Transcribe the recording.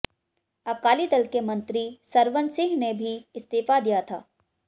अकाली दल के मंत्री सरवन सिंह ने भी इस्तीफा दिया था